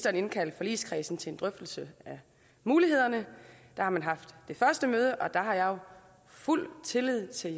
at indkalde forligskredsen til en drøftelse af mulighederne der har man haft det første møde og der har jeg jo fuld tillid til